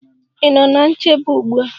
Ị nọ ná nchebe ugbu a?